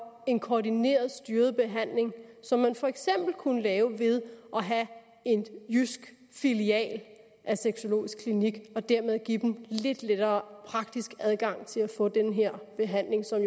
en koordineret styret behandling som man for eksempel kunne lave ved at have en jysk filial af sexologisk klinik og dermed give dem lidt lettere praktisk adgang til at få den her behandling som